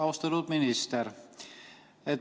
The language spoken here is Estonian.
Austatud minister!